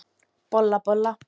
Bolla, bolla!